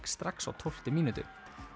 strax á tólftu mínútu